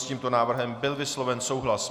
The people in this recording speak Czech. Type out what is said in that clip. S tímto návrhem byl vysloven souhlas.